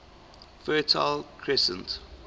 fertile crescent